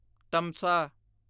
ਤਮਸਾ